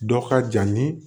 Dɔ ka jan ni